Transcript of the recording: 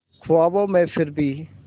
ख्वाबों में फिर भी